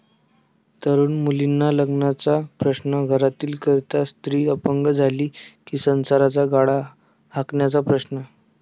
तरुण मुलींना लग्नाचा प्रश्न, घरातील करती स्त्री अपंग झाली कि संसाराचा गाडा हाकण्याचा प्रश्न...